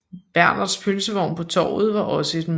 Bernhardts pølsevogn på Torvet var også et mødested